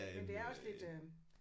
Men det er også lidt øh